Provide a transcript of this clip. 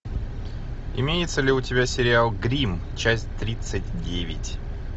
имеется ли у тебя сериал гримм часть тридцать девять